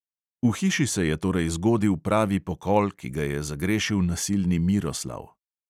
V hiši se je torej zgodil pravi pokol, ki ga je zagrešil nasilni miroslav.